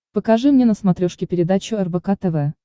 покажи мне на смотрешке передачу рбк тв